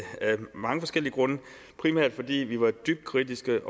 mange forskellige grunde primært fordi vi var dybt kritiske